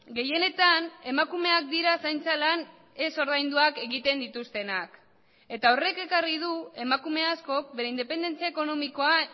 gehienetan emakumeak dira zaintza lan ez ordainduak egiten dituztenak eta horrek ekarri du emakume askok bere independentzia ekonomikoa